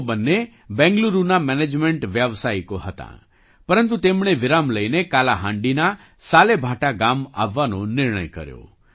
તેઓ બંને બેંગલુરુના મેનેજમેન્ટ વ્યાવસાયિકો હતાં પરંતુ તેમણે વિરામ લઈને કાલાહાંડીના સાલેભાટા ગામ આવવાનો નિર્ણય કર્યો